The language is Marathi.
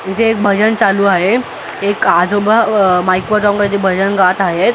इथे एक भजन चालू आहे एक आजोबा अ माईक वर जाऊन काहीतरी भजन गात आहेत.